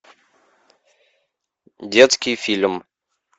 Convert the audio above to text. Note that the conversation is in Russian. детский фильм